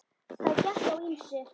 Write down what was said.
Það gekk á ýmsu.